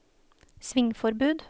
svingforbud